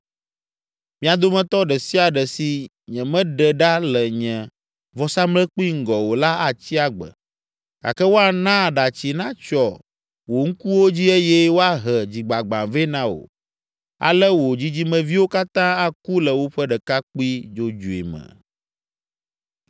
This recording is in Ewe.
Mia dometɔ ɖe sia ɖe si nyemeɖe ɖa le nye vɔsamlekpui ŋgɔ o la atsi agbe, gake woana aɖatsi natsyɔ wò ŋkuwo dzi eye woahe dzigbagbã vɛ na wò. Ale wò dzidzimeviwo katã aku le woƒe ɖekakpui dzodzoe me.